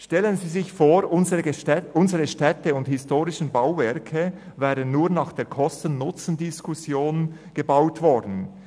Stellen Sie sich vor, unsere Städte und historischen Bauwerke wären nur nach der Kosten-/Nutzendiskussion gebaut worden.